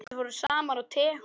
Þeir fóru saman á tehús.